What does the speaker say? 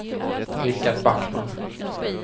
Rickard Backman